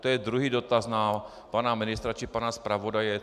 To je druhý dotaz na pana ministra či pana zpravodaje.